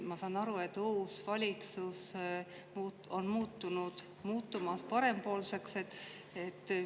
Ma saan aru, et uus valitsus on muutumas parempoolseks.